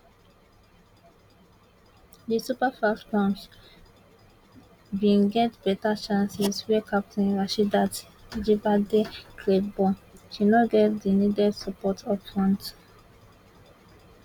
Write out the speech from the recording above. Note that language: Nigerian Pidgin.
di super falcons bin get beta chances wey captain rasheedat ajibade create but she no get di needed support upfront